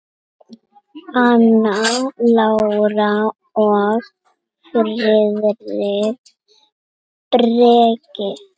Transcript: Anna Lára og Friðrik Breki.